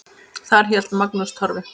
Þar hélt Magnús Torfi